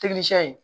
ye